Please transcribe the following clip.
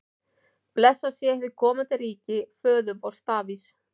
Blessað sé hið komandi ríki föður vors Davíðs!